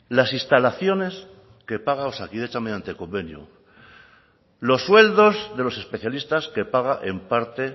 las instalaciones que paga osakidetza mediante convenio los sueldos de los especialistas que paga en parte